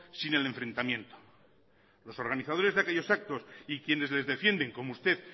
sin el enfrentamiento los organizadores de aquellos actos y quienes les defienden como usted